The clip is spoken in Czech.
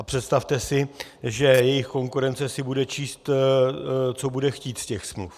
A představte si, že jejich konkurence si bude číst, co bude chtít, z těch smluv.